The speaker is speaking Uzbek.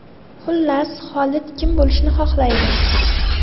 Xullas, Xolid kim bo‘lishni xohlaydi?